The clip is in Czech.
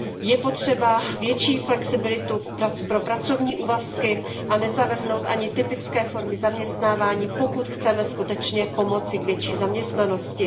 Je potřeba větší flexibilitu pro pracovní úvazky a nezavrhnout ani typické formy zaměstnávání, pokud chceme skutečně pomoci k větší zaměstnanosti.